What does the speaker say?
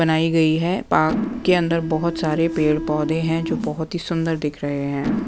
बनाई गई हैं पार्क के अंदर बहुत सारे पेड़-पौधे हैं जो बहुत ही सुंदर दिख रहे हैं।